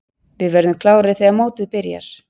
Við verðum klárir þegar mótið byrjar.